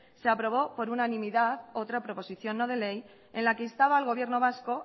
se aprobó por unanimidad otra proposición no de ley en la que instaba al gobierno vasco